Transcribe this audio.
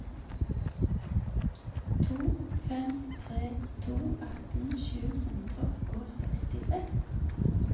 to fem tre to atten sju hundre og sekstiseks